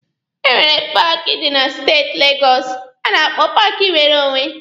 E nwere paaki dị na steeti Legọsụ a na-akpọ paaki nwere onwe.